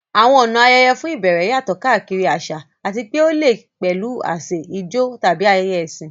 Àwọn ọ̀nà ayẹyẹ fún ìbẹ̀rẹ̀ yàtọ̀ káàkiri àṣà àti pé ó lè pẹ̀lú àsè, ijó, tàbí ayẹyẹ ẹ̀sìn.